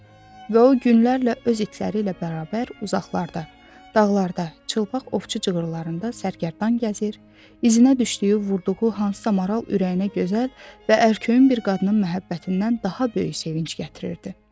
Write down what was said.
Və o günlərlə öz itləri ilə bərabər uzaqlarda, dağlarda, çılpaq ovçu cığırlarında sərgərdan gəzir, izinə düşdüyü, vurduğu hansısa maral ürəyinə gözəl və ərköyün bir qadının məhəbbətindən daha böyük sevinc gətirirdi.